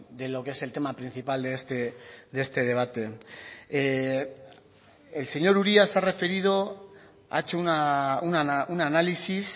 de lo que es el tema principal de este debate el señor uria se ha referido ha hecho un análisis